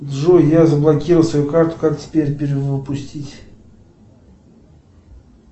джой я заблокировал свою карту как теперь перевыпустить